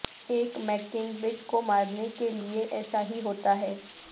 ایک مککنگبڈ کو مارنے کے لئے ایسا ہی ہوتا ہے